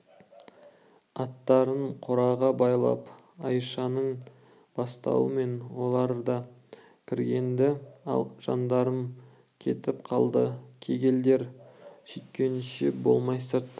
аттарын қораға байлап айшаның бастауымен олар да кірген-ді ал жандарым жетіп қалды кеселдер сүйткенше болмай сырттан